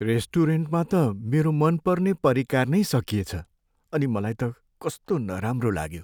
रेस्टुरेन्टमा त मेरो मनपर्ने परिकार नै सकिएछ अनि मलाई त कस्तो नराम्रो लाग्यो।